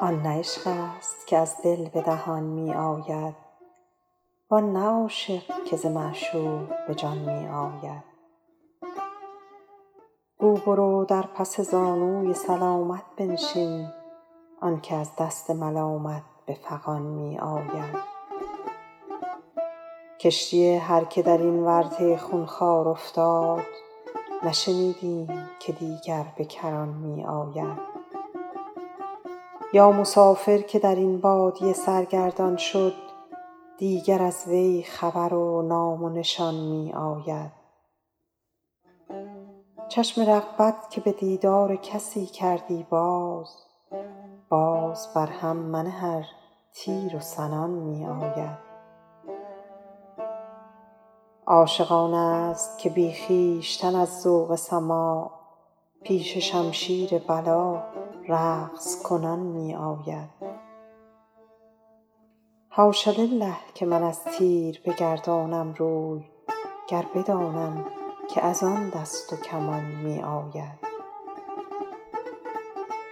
آن نه عشق است که از دل به دهان می آید وان نه عاشق که ز معشوق به جان می آید گو برو در پس زانوی سلامت بنشین آن که از دست ملامت به فغان می آید کشتی هر که در این ورطه خونخوار افتاد نشنیدیم که دیگر به کران می آید یا مسافر که در این بادیه سرگردان شد دیگر از وی خبر و نام و نشان می آید چشم رغبت که به دیدار کسی کردی باز باز بر هم منه ار تیر و سنان می آید عاشق آن است که بی خویشتن از ذوق سماع پیش شمشیر بلا رقص کنان می آید حاش لله که من از تیر بگردانم روی گر بدانم که از آن دست و کمان می آید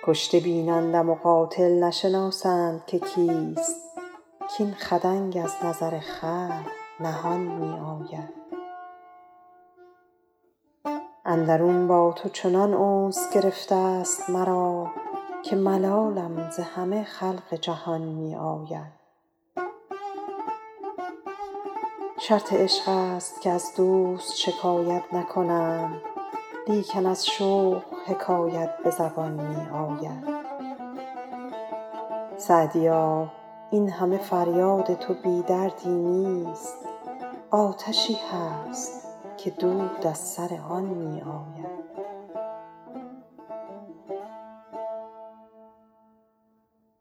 کشته بینند و مقاتل نشناسند که کیست کاین خدنگ از نظر خلق نهان می آید اندرون با تو چنان انس گرفته ست مرا که ملالم ز همه خلق جهان می آید شرط عشق است که از دوست شکایت نکنند لیکن از شوق حکایت به زبان می آید سعدیا این همه فریاد تو بی دردی نیست آتشی هست که دود از سر آن می آید